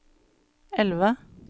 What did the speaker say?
elve